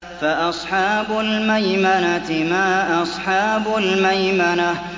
فَأَصْحَابُ الْمَيْمَنَةِ مَا أَصْحَابُ الْمَيْمَنَةِ